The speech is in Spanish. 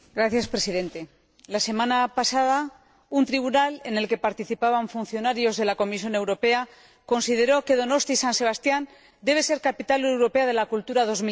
Señor Presidente, la semana pasada un jurado en el que participaban funcionarios de la Comisión Europea consideró que Donosti, San Sebastián, debe ser Capital Europea de la Cultura en